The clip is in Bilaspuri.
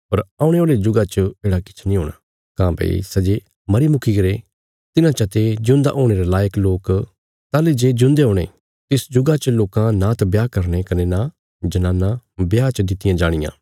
पर औणे औल़े जुगा च येढ़ा किछ नीं हूणा काँह्भई सै जे मरी मुकीगरे तिन्हां चा ते जिऊंदा हुणे रे लायक लोक ताहली जे ज्यून्दे हुणे तिस जुगा च लोकां नांत ब्याह करने कने नां जनानां ब्याह च दित्तियां जाणियां